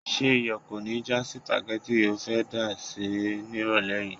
Ṣé iyọ̀ kò ní já sípágì tí o fẹ́ dá sè nírọ̀lẹ́ yìí?